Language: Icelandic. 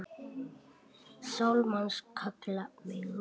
Sál manns kalla megum.